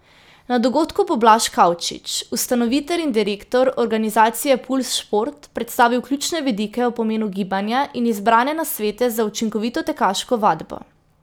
Na dogodku bo Blaž Kavčič, ustanovitelj in direktor organizacije Pulz šport, predstavil ključne vidike o pomenu gibanja in izbrane nasvete za učinkovito tekaško vadbo.